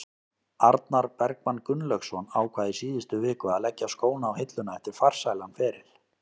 Arnar Bergmann Gunnlaugsson ákvað í síðustu viku að leggja skóna á hilluna eftir farsælan feril.